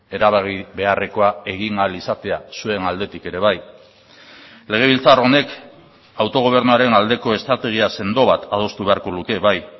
erabaki beharrekoa egin ahal izatea zuen aldetik ere bai legebiltzar honek autogobernuaren aldeko estrategia sendo bat adostu beharko luke bai